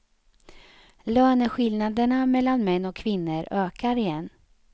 Löneskillnaderna mellan män och kvinnor ökar igen.